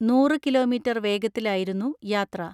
നൂറ് കിലോമീറ്റർ വേഗത്തിലായിരുന്നു യാത്ര.